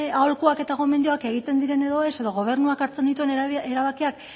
aholkuak eta gomendioak egiten diren edo ez edo gobernuak hartzen dituen erabakiak